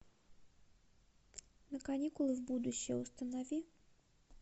на каникулы в будущее установи